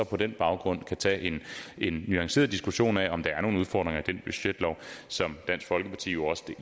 på den baggrund kan tage en nuanceret diskussion af om der er nogle udfordringer i den budgetlov som dansk folkeparti jo også